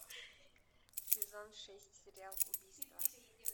сезон шесть сериал убийство